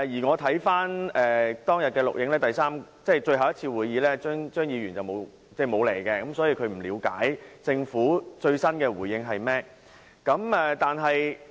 我曾翻看當天的錄影紀錄，確定張議員沒有出席，所以他不了解政府最新的回應是甚麼。